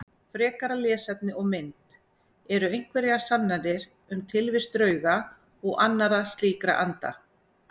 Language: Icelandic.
Frekara lesefni og mynd Eru einhverjar sannanir um tilvist drauga og annarra slíkra anda?